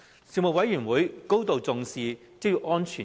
事務委員會高度重視職業安全。